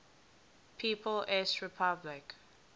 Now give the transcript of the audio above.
people s republic